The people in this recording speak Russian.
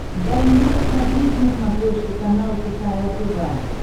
дай мне посмотреть на смотрешке канал кхл тв